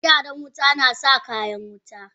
Megyaran wuta nasa kayan wuta.